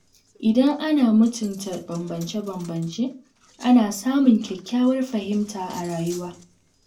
Idan ana mutunta bambance-bambance, ana samun kyakkyawar fahimta a rayuwa.